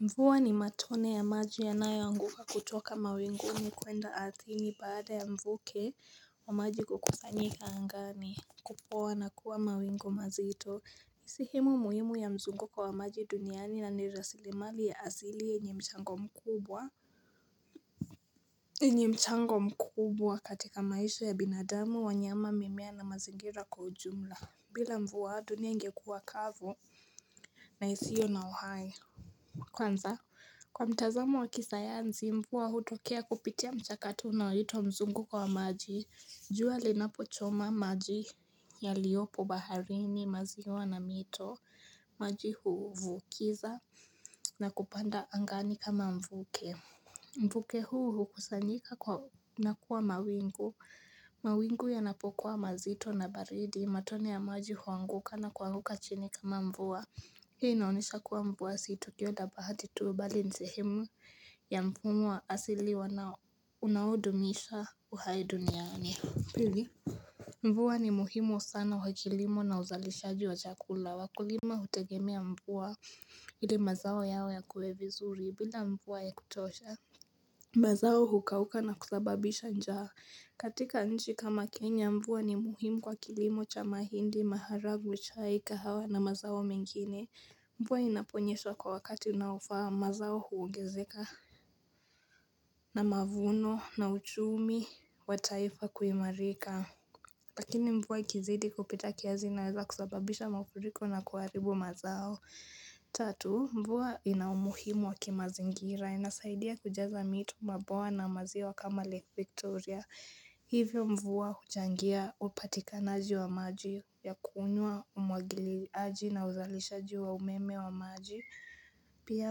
Mvua ni matone ya maji yanayoanguka kutoka mawinguni kwenda ardhini baada ya mvuke wa maji kukusanyika angani Kupoa na kuwa mawingu mazito sehemu muhimu ya mzungu wa maji duniani yaani rasilimali ya asili yenye mchango mkubwa yenye mchango mkubwa katika maisha ya binadamu wanyama mimea na mazingira kwa ujumla bila mvua dunia ingekuwa kavu na isio na uhai Kwanza kwa mtazamo wa kisayansi mvua hutokea kupitia mchakato unaoitwa mzunguko wa maji jua linapochoma maji yaliyopo baharini maziwa na mito maji huvukiza na kupanda angani kama mvuke Mvuke huu hukusanyika na kuwa mawingu mawingu yanapokuwa mazito na baridi matone ya maji huanguka na kuanguka chini kama mvua Hii inaonyesha kuwa mvua sio tukio la bahati tu mbali ni sehemu ya mfumo wa asili unaudumisha uhai duniani. Mvua ni muhimu sana kwa kilimo na uzalishaji wa chakula. Wakulima hutegemea mvua ili mazao yao yakue vizuri bila mvua ya kutosha. Mazao hukauka na kusababisha njaa. Katika nchi kama Kenya mvua ni muhimu kwa kilimo cha mahindi maharagwe chai kahawa na mazao mengine. Mvua inaponyesha kwa wakati unaofaa mazao huongezeka na mavuno na uchumi wa taifa kuimarika Lakini mvua ikizidi kupita kiasi inaweza kusababisha mafuriko na kuharibu mazao Tatu mvua ina umuhimu wa kimazingira inasaidia kujaza mito mabwawa na maziwa kama lake Victoria Hivyo mvua huchangia upatikanaji wa maji ya kunywa umwagiliaji na uzalishaji wa umeme wa maji Pia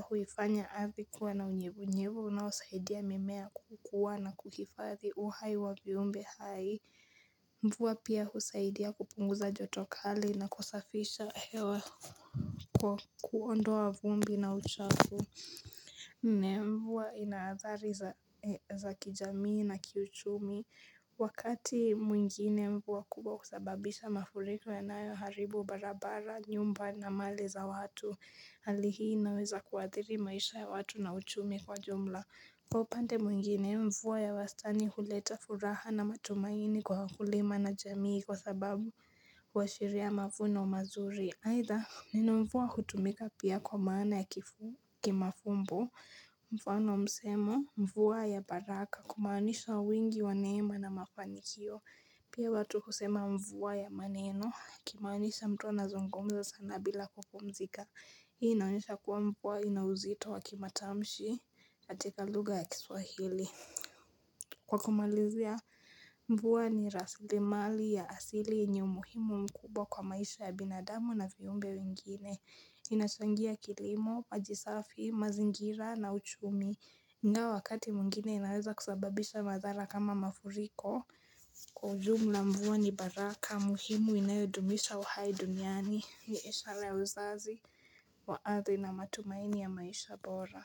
huifanya ardhi kuwa na unyevunyevu unaosaidia mimea kukua na kuhifadhi uhai wa viumbe hai mvua pia husaidia kupunguza joto kali na kusafisha hewa kwa kuondoa vumbi na uchafu nne mvua ina athari za kijamii na kiuchumi Wakati mwingine mvua kubwa husababisha mafuriko yanayoharibu barabara nyumba na mali za watu Hali hii inaweza kuathiri maisha ya watu na uchumi kwa jumla Kwa upande mwingine mvua ya wastani huleta furaha na matumaini kwa wakulima na jamii kwa sababu kwashiria mavuno mazuri haidha neno mvua kutumika pia kwa maana ya kimafumbo, mfano wa msemo, mvua ya baraka, kumaanisha wingi wa neema na mafanikio, pia watu kusema mvua ya maneno, akimaanisha mtu anazungumza sana bila kupumzika, hii inaonyesha kuwa mvua ina uzito wa kimatamshi, katika lugha ya kiswahili. Kwa kumalizia mvua ni rasilimali ya asili yenye umuhimu mkubwa kwa maisha ya binadamu na viumbe wengine, inachangia kilimo, maji safi, mazingira na uchumi, ingawa wakati mwingine inaweza kusababisha madhara kama mafuriko Kwa ujumla mvua ni baraka, muhimu inayodumisha uhai duniani, ni ishara ya uzazi wa ardhi na matumaini ya maisha bora.